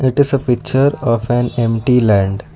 it is a picture of an empty land.